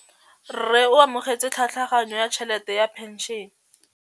Rragwe o amogetse tlhatlhaganyô ya tšhelête ya phenšene.